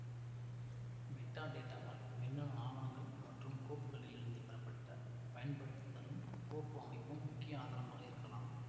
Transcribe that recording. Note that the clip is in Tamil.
மெட்டாடேட்டாவால் மின்னணு ஆவணங்கள் மற்றும் கோப்புகளிலிருந்து பெறப்பட்ட பயன்படுத்துதலும் கோப்பு அமைப்பும் முக்கிய ஆதாரமாக இருக்கலாம்